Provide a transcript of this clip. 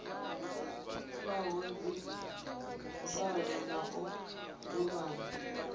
faho dzimvalo na u ḓivhana